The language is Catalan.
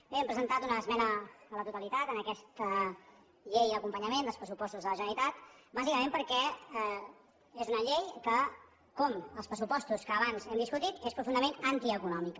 bé hem presentat una esmena a la totalitat en aquesta llei d’acompanyament dels pressupostos de la generalitat bàsicament perquè és una llei que com els pressupostos que abans hem discutit és profundament antieconòmica